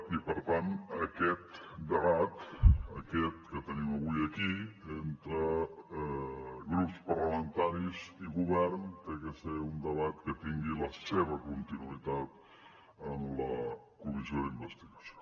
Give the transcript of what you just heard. i per tant aquest debat aquest que tenim avui aquí entre grups parlamentaris i govern ha de ser un debat que tingui la seva continuïtat en la comissió d’investigació